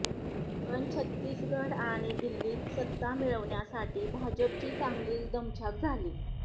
पण छत्तीसगढ आणि दिल्लीत सत्ता मिळविण्यासाठी भाजपची चांगलीच दमछाक झाली